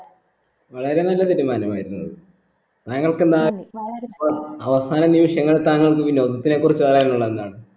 വളരെ നല്ല തീരുമാനമായിരുന്നു അത് ഞങ്ങൾക്ക് നാ അവസാനം നിമിഷങ്ങൾ താങ്കൾക്ക് വിനോദത്തിന്റെ കുറിച്ച് പറയാനുള്ളതെന്താണ്